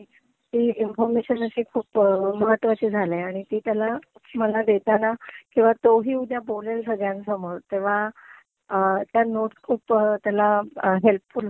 ही information अशी खूप महत्वाची झालीय आणि ती त्याला मला देताना किंवा तोही उद्या बोलेल संगळ्यांसामोर तेव्हा त्या नोट्स खूप त्याला हेल्पफुल होतील.